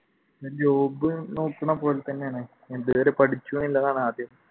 job നോക്കണ പോലെത്തന്നെയാണ് എന്തുവരെ